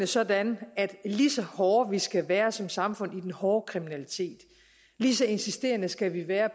sådan at lige så hårde vi skal være som samfund den hårde kriminalitet lige så insisterende skal vi være